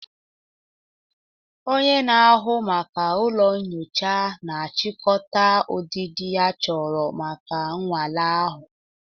Onye na-ahụ maka ụlọ nyocha na-achịkọta ụdịdị achọrọ maka nnwale ahụ